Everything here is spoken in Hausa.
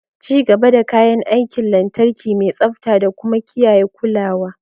Ci gaba da kayan aikin lantarki mai tsabta da kuma kiyaye kulawa.